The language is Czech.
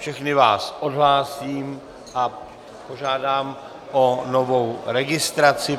Všechny vás odhlásím a požádám o novou registraci.